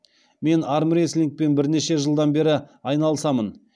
мен армрестлингпен бірнеше жылдан бері айналысамын